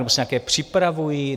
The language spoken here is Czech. Nebo se nějaké připravují?